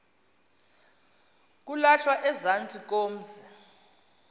kulahlwa ezantsi komzi